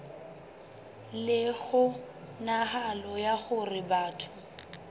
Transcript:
le kgonahalo ya hore batho